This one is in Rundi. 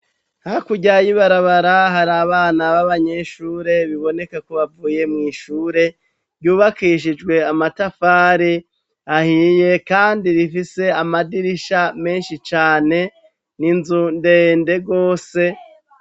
Hakuryayibarabara hari abana b'abanyeshure biboneke kubavuye mw'ishure ryubakishijwe amatafare ahiye, kandi rifise amadirisha menshi cane ni inzu ndende rwose.